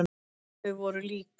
Þau voru lík.